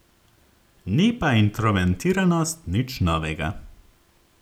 Ni pa introvertiranost nič novega.